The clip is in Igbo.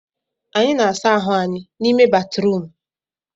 Anyị na-asa ahụ anyị n'ime batrum